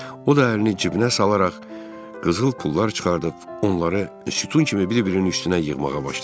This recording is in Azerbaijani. O da əlini cibinə salaraq qızıl pullar çıxardıb onları sütun kimi bir-birinin üstünə yığmağa başladı.